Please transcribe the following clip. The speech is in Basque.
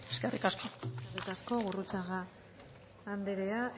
eskerrik asko eskerrik asko gurrutxaga anderea